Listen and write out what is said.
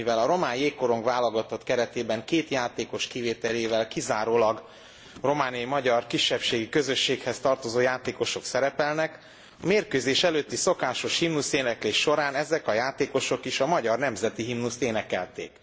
Mivel a román jégkorong válogatott keretében két játékos kivételével kizárólag romániai magyar kisebbségi közösséghez tartozó játékosok szerepelnek, a mérkőzés előtti szokásos himnuszéneklés során ezek a játékosok is a magyar nemzeti himnuszt énekelték.